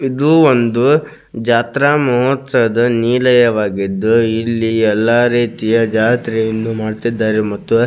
ಇದು ಒಂದು ಜಾತ್ರಾ ಮಹೋತ್ಸವದ ನೀಲಯವಾಗಿದ್ದು ಇಲ್ಲಿ ಎಲ್ಲ ರೀತಿಯ ಜಾತ್ರೆಯನ್ನು ಮಾಡುತ್ತಿದ್ದಾರೆ ಮತ್ತು --